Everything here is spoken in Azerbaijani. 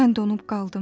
Mən donub qaldım.